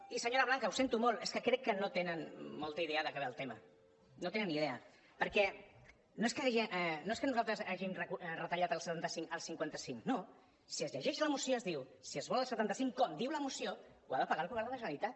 i senyora blanca ho sento molt és que crec que no tenen molta idea de què va el tema no en tenen ni idea perquè no és que nosaltres hàgim retallat del setanta cinc al cinquanta cinc no si es llegeix la moció es diu si es vol el setanta cinc com diu la moció ho ha de pagar el govern de la generalitat